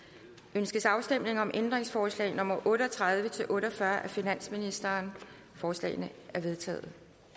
ønskes afstemning om ændringsforslag nummer otte og tredive til otte og fyrre af finansministeren forslagene er vedtaget